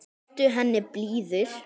Vertu henni blíður.